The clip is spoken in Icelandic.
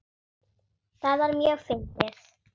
Það var mjög fyndið.